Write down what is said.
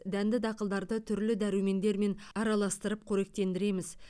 дәнді дақылдарды түрлі дәрумендермен араластырып қоректендіреміз